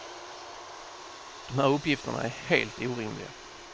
De här uppgifterna är helt orimliga.